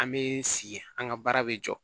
An bɛ sigi an ka baara bɛ jɔ